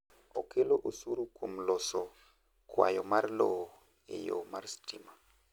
okelo osuru kuom loso kwayo mar lowo e yo mar stima